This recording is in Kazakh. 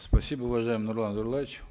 спасибо уважаемый нурлан зайроллаевич